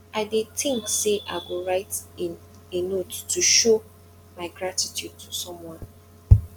i dey think say i go write a a note to show my gratitude to someone